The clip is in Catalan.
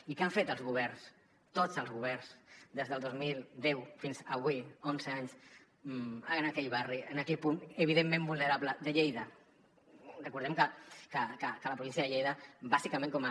i què han fet els governs tots els governs des del dos mil deu fins avui onze anys en aquell barri en aquell punt evidentment vulnerable de lleida recordem que a la província de lleida bàsicament com a